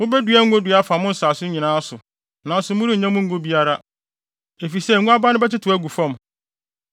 Mubedua ngonnua afa mo nsase so nyinaa, nanso morennya mu ngo biara, efisɛ ngo aba no bɛtetew agu fam.